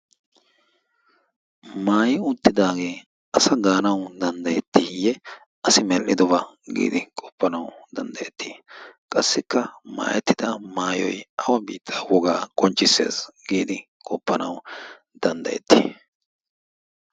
Maayi uttidage asa ganawu danddayetiye? Asi medhdhidoba gi qofanawu danddayeti? Qassika maayetida maayoy awu biitta wogaa qonccisses giidi qofanwu danddayertti?